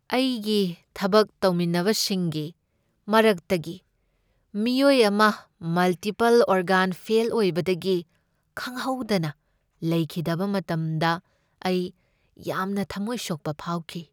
ꯑꯩꯒꯤ ꯊꯕꯛ ꯇꯧꯃꯤꯟꯅꯕꯁꯤꯡꯒꯤ ꯃꯔꯛꯇꯒꯤ ꯃꯤꯑꯣꯏ ꯑꯃ ꯃꯜꯇꯤꯄꯜ ꯑꯣꯒꯥꯟ ꯐꯦꯜ ꯑꯣꯏꯕꯗꯒꯤ ꯈꯪꯍꯧꯗꯅ ꯂꯩꯈꯤꯗꯕ ꯃꯇꯝꯗ ꯑꯩ ꯌꯥꯝꯅ ꯊꯝꯃꯣꯏ ꯁꯣꯛꯄ ꯐꯥꯎꯈꯤ ꯫